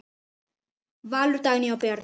Valur, Dagný og börn.